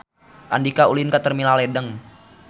Andika ulin ka Terminal Ledeng